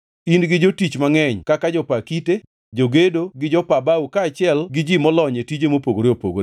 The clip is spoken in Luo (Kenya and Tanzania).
In gi jotich mangʼeny kaka jopa kite, jogedo gi jopa bao kaachiel gi ji molony e tije mopogore opogore,